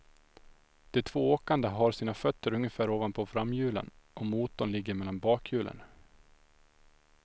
De två åkande har sina fötter ungefär ovanpå framhjulen och motorn ligger mellan bakhjulen.